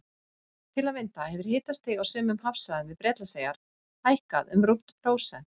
Til að mynda hefur hitastig á sumum hafsvæðum við Bretlandseyjar hækkað um rúmt prósent.